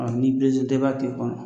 Ni tɛ i b'a to i kɔnɔ